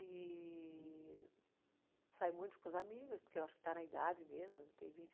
E sai muito com os amigos, porque eu acho que está na idade mesmo, tem vinte